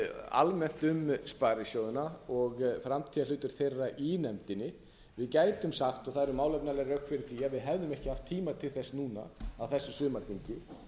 almennt um sparisjóðina og framtíðarhlutverk þeirra í nefndinni við gætum sagt og það eru málefnaleg rök fyrir því að við hefðum ekki haft tíma til þess núna á þessu sumarþingi